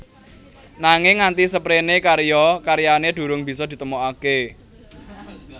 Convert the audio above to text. Nanging nganti seprene karya karyane durung bisa ditemokake